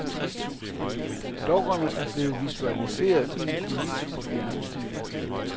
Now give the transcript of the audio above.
Dukkerne er blevet visualiseret i en kulisse på fjernsynet.